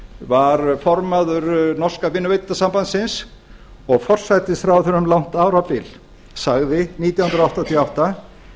var formaður norska vinnuveitendasambandsins og forsætisráðherra um langt árabil sagði nítján hundruð áttatíu og átta